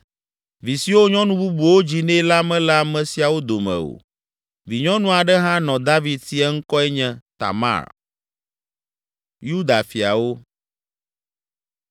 Vi siwo nyɔnu bubuwo dzi nɛ la mele ame siawo dome o. Vinyɔnu aɖe hã nɔ David si; eŋkɔe nye Tamar.